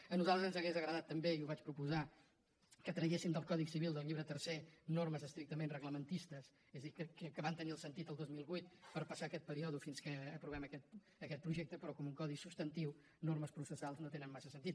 a nosaltres ens hauria agradat també i ho vaig proposar que tragués sim del codi civil del llibre tercer normes estrictament reglamentistes és a dir que van tenir el sentit el dos mil vuit per passar aquest període fins que aprovem aquest projecte però que en un codi substantiu normes processals no tenen massa sentit